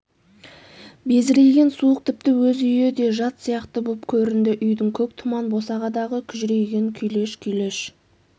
безірейген суық тіпті өз үйі де жат сияқты боп көрінді үйдің көк тұман босағадағы күжірейген күйлеш-күйлеш